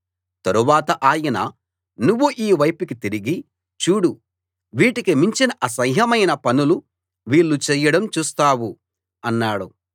తరువాత ఆయన నువ్వు ఈ వైపుకి తిరిగి చూడు వీటికి మించిన అసహ్యమైన పనులు వీళ్ళు చేయడం చూస్తావు అన్నాడు